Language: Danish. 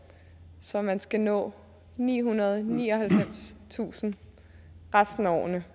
så man skal nå nihundrede og nioghalvfemstusind resten af årene